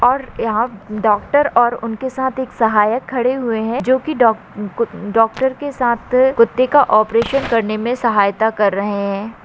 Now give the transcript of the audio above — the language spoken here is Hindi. और यहा डॉक्टर और उनके साथ एक सहायक खड़े हुये है जो की डोक डॉक्टर के साथ कुत्ते का ओपेरेशन करने मे सहायता कर रहे है।